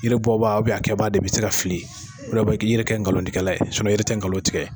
Yiri bɔbaa a kɛbaa de bɛ se ka fili, k'i yɛrɛ kɛ ngalontigɛla ye yiri tɛ ngalon tigɛ